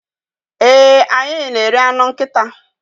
ee, anyị na-eri anụ nkịta